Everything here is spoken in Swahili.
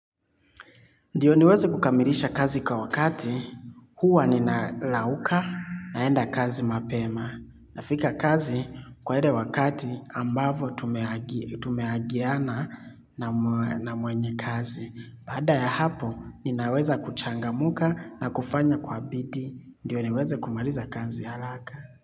Ndiyo niweze kukamilisha kazi kwa wakati huwa ninarauka naenda kazi mapema. Nafika kazi kwa ile wakati ambavyo tumeagana na mwenye kazi. Baada ya hapo ninaweza kuchangamka na kufanya kwa bidii. Ndio niweze kumaliza kazi haraka.